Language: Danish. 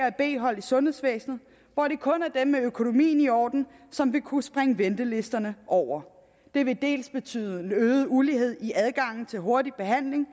et b hold i sundhedsvæsenet hvor det kun er dem med økonomien i orden som vil kunne springe ventelisterne over det vil dels betyde øget ulighed i adgangen til hurtig behandling